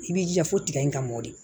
I b'i jija fo tiga in ka mɔdi